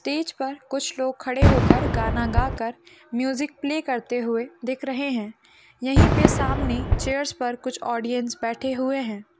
Stage पर कुछ लोग खड़े होकर गाना गाकर म्यूजिक प्ले करते हुए दिख रहे है यहीं पे सामने चेयर्स पर कुछ ऑडियन्स बैठे हुए हैं।